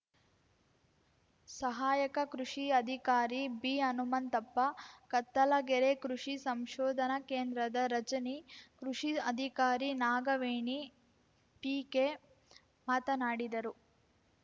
ಸಹಾಯಕ ಕೃಷಿ ಅಧಿಕಾರಿ ಬಿಹನುಮಂತಪ್ಪ ಕತ್ತಲಗೆರೆ ಕೃಷಿ ಸಂಶೋಧನಾ ಕೇಂದ್ರದ ರಜನಿ ಕೃಷಿ ಅಧಿಕಾರಿ ನಾಗವೇಣಿಪಿಕೆ ಮಾತನಾಡಿದರು